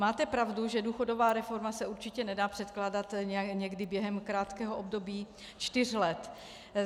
Máte pravdu, že důchodová reforma se určitě nedá předkládat někdy během krátkého období čtyř let.